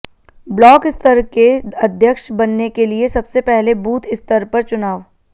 block स्तर के अध्यक्ष बनने के लिए सबसे पहले बूथ स्तर पर चुनाव